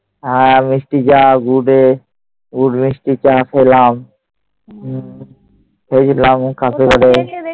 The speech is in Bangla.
মিষ্টি, চা খেলাম।